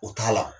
O t'a la